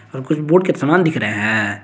और कुछ बोर्ड के समान दिख रहे हैं।